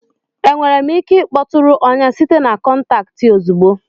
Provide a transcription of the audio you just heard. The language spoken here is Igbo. Enwere m ike ịkpọtụrụ ọnya site na kọntaktị ozugbo?